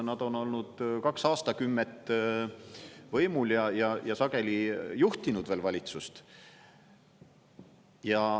Nad on olnud kaks aastakümmet võimul ja sageli juhtinud veel valitsust.